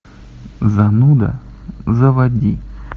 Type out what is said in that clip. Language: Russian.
зануда заводи